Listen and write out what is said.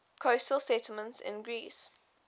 coastal settlements in greece